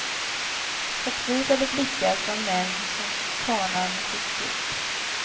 Förtvivlade blickar från män som kanar mot ett stup.